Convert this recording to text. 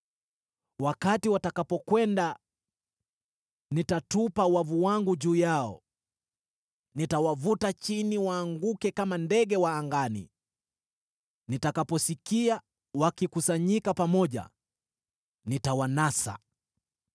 Wakati watakapokwenda, nitatupa wavu wangu juu yao; nitawavuta chini waanguke kama ndege wa angani. Nitakaposikia wakikusanyika pamoja, nitawanasa.